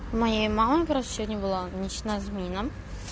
моей мамы просто была ночная смена